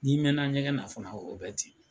N'i mɛn na ɲɛgɛn na fana, o bɛɛ ten.